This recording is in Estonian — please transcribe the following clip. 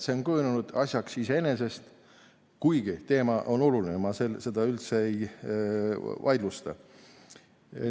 See on kujunenud asjaks iseeneses, kuigi teema on oluline, ma seda üldse ei vaidlusta.